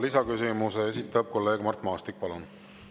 Lisaküsimuse esitab kolleeg Mart Maastik.